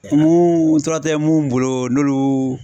tura tɛ mun bolo n'olu